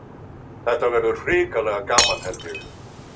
Þetta verður hrikalega gaman held ég.